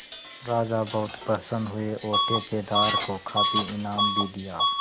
राजा बहुत प्रसन्न हुए और ठेकेदार को काफी इनाम भी दिया